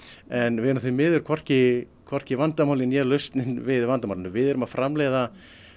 en við erum því miður hvorki hvorki vandamálið né lausnin við vandamálinu við erum að framleiða